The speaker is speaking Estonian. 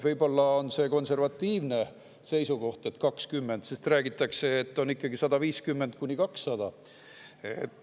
Võib-olla on see konservatiivne seisukoht, et 20, sest räägitakse, et on ikkagi 150–200?